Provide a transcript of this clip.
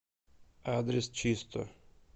адрес чисто